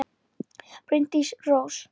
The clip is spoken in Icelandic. Bryndís Rós.